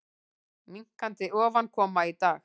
Minnkandi ofankoma í dag